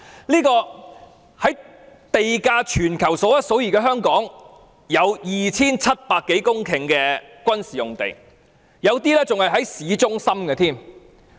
在地價處於全球數一數二的香港，有 2,700 多公頃的軍事用地，有一些更位處市中心。